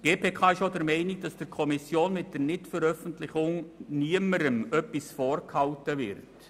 Die GPK ist auch der Meinung, dass mit der Nichtveröffentlichung niemandem etwas vorenthalten wird.